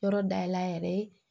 Yɔrɔ dayɛlɛ a yɛrɛ ye